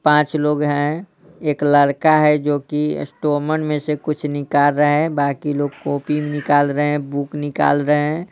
पांच लोग हैं एक लड़का हैजो कि स्टोमन में से कुछ निकाल रहा है बाकी लोग कॉपी निकाल रहे हैं बुक निकाल रहे हैं।